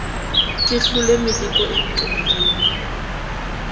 ke hlole meleko e ntobileng